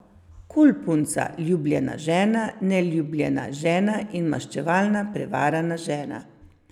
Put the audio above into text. Kul punca, ljubljena žena, neljubljena žena in maščevalna prevarana žena.